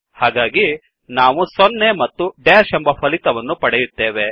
ಹಾಗಾಗಿ ನಾವು 0ಸೊನ್ನೆ ಮತ್ತು ಡ್ಯಾಶ್ ಎಂಬ ಫಲಿತವನ್ನುಪಡೆಯುತ್ತೇವೆ